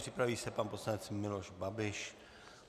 Připraví se pan poslanec Miloš Babiš.